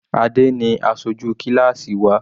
Adé ni aṣojú kíláásì wa.